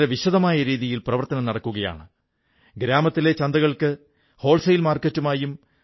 ഇതുപോലുള്ള മറ്റു പ്രവർത്തനങ്ങളെക്കുറിച്ച് നിങ്ങൾക്കറിയാമെങ്കിൽ അത് സമൂഹമാധ്യമത്തിൽ തീർച്ചയായും പങ്കുവയ്ക്കൂ